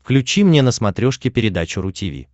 включи мне на смотрешке передачу ру ти ви